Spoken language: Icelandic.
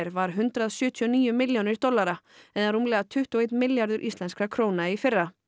var hundrað sjötíu og níu milljónir dollara eða rúmlega tuttugu og einn milljarður íslenskra króna í fyrra